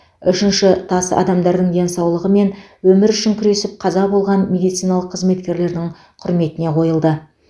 үшінші тас адамдардың денсаулығы мен өмірі үшін күресіп қаза болған медициналық қызметкерлердің құрметіне қойылды